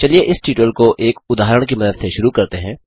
चलिए इस ट्यूटोरियल को एक उदाहरण की मदद से शुरू करते हैं